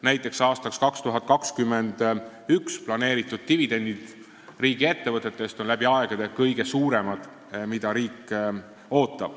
Näiteks on aastaks 2021 planeeritud dividendid riigiettevõtetest, mida riik ootab, läbi aegade kõige suuremad.